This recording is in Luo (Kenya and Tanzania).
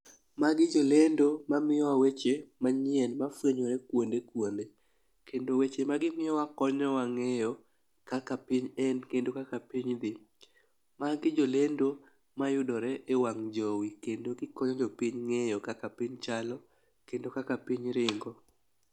Magi jolendo mamiyo wa weche manyien mafwenyore kuonde kuonde, kendo weche ma gimiyowa konyowa ng'eyo kaka piny en kendo kaka piny dhi. Magi jolendo mayudore e wang' jowi kendo gikonyo jopiny ng'eyo kaka piny chalo kendo kaka piny ringo.